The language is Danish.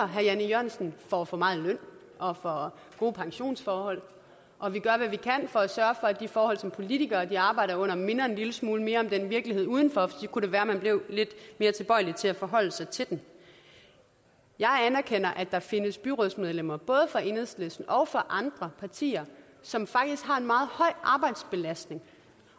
herre jan e jørgensen får for meget i løn og for gode pensionsforhold og vi gør hvad vi kan for at sørge for at de forhold som politikere arbejder under minder en lille smule mere om virkeligheden udenfor for så kunne det være man blev lidt mere tilbøjelig til at forholde sig til den jeg anerkender at der findes byrådsmedlemmer både fra enhedslisten og fra andre partier som faktisk har en meget høj arbejdsbelastning